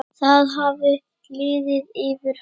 Það hafði liðið yfir hana.